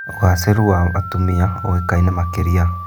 ũgacĩĩru wa atumia oĩkaine makĩria.